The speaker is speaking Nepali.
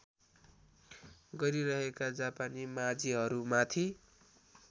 गरिरहेका जापानी माझीहरूमाथि